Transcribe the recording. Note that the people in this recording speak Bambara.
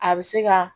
A bɛ se ka